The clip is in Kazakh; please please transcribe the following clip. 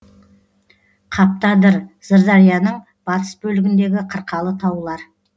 қаптыадыр сырдарияның батыс бөлігіндегі қырқалы таулар